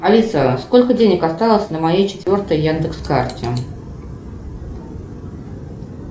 алиса сколько денег осталось на моей четвертой яндекс карте